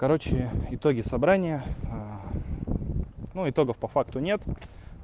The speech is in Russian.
короче итоги собрания ну итогов по факту нет